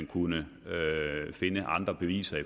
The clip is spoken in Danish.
kunne finde andre beviser